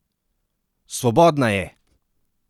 Svobodna je!